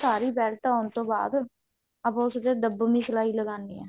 ਸਾਰੀ belt ਲਗਾਉਣ ਤੋਂ ਬਾਅਦ ਆਪਾਂ ਉਸ ਤੇ ਦਬ੍ਬ੍ਵਿਨ ਸਲਾਈ ਲਗਾਉਣੀ ਹੈ